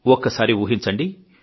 ఒక్కసారి ఊహించండి